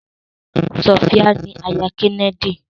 Sofia ni àyà Kennedy.